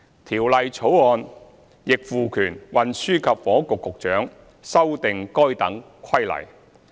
《條例草案》亦賦權運輸及房屋局局長修訂該等規例。